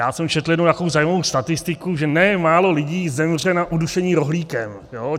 Já jsem četl jednu takovou zajímavou statistiku, že nemálo lidí zemře na udušení rohlíkem.